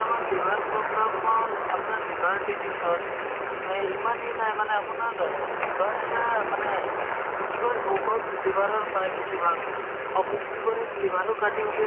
বা তেনেকে বহুত কষ্ট ধাৰে ঋণে পইচা দিয়ে to চৰকাৰে পদ ভাল পদক্ষেপ লৈছে পদক্ষেপ যেনেকে ধৰা আয়ুসমান card নহয় জানো to আয়ুসমান card এতিয়া চোৱা চবৰে দুখীয়াসকলক এনেকে কৰি দিছে